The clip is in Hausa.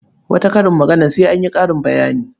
Wata karin maganar sai an yi ƙarin bayani.